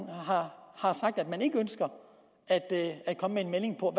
har sagt at man ikke ønsker at komme med en melding på